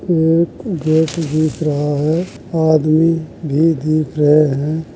Gate दिख रहा है। आदमी भी दिख रहे हैं।